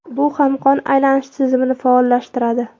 Bu ham qon aylanish tizimini faollashtiradi.